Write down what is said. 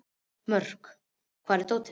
Mörk, hvar er dótið mitt?